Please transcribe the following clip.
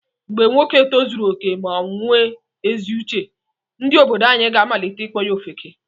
Mgbe nwoke tozuru okè ma onwe ezi uche, ndị obodo anyi ga amalite ịkpọ ya ofeke.